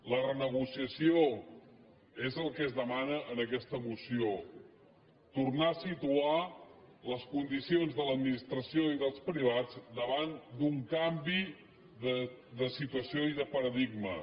la renegociació és el que es demana en aquesta moció tornar a situar les condicions de l’administració i dels privats davant d’un canvi de situació i de paradigma